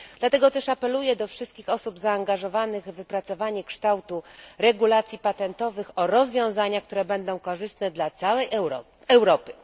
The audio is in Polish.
Dlatego też apeluję do wszystkich osób zaangażowanych w opracowanie kształtu regulacji patentowych o rozwiązania, które będą korzystne dla całej Europy.